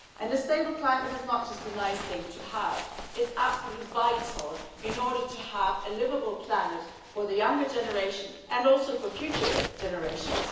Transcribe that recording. A stable climate is not just a nice thing to have, it's absolutely vital in order to have a liveable planet for the younger generation and also for future generations.